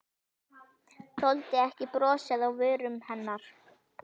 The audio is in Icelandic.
Þoldi ekki brosið á vörum hennar.